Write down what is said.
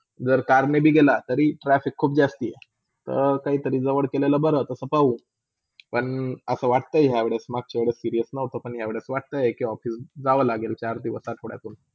आणि जर CAR नी बी गेला तर traffic जासती हाय. तर काही तरी जवल केलेला बर तास पाहू. पण असा वाटते यह वेळी, मघ्च्या वेळी serious नव्हता, पण या वेळी वाटताय कि office जवा लागेल चार दिवस, आठवड्यातून.